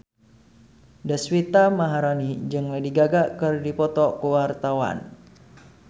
Deswita Maharani jeung Lady Gaga keur dipoto ku wartawan